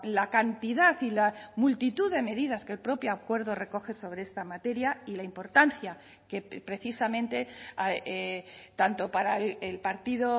la cantidad y la multitud de medidas que el propio acuerdo recoge sobre esta materia y la importancia que precisamente tanto para el partido